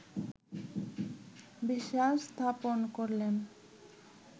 বিশ্বাস স্থাপন করলেন